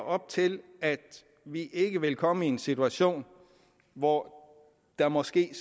op til at vi ikke vil komme i en situation hvor der måske